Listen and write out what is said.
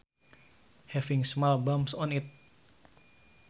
Having small bumps on it